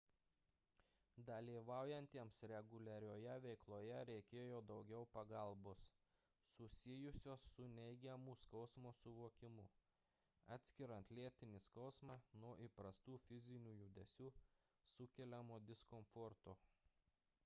dalyvaujantiems reguliarioje veikloje reikėjo daugiau pagalbos susijusios su neigiamu skausmo suvokimu atskiriant lėtinį skausmą nuo įprastų fizinių judesių sukeliamo diskomforto